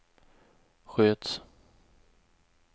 sköts